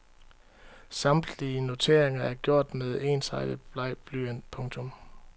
Samtlige noteringer er gjort med ensartet bleg blyant. punktum